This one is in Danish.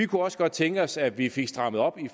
kunne også godt tænke os at vi fik strammet op